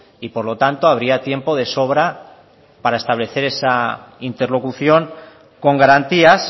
y por lo tanto habría tiempo de sobra para establecer esa interlocución con garantías